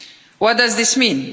What does this mean?